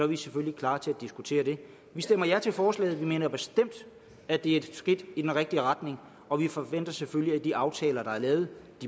vi selvfølgelig klar til at diskutere det vi stemmer ja til forslaget vi mener bestemt at det er et skridt i den rigtige retning og vi forventer selvfølgelig at de aftaler der er lavet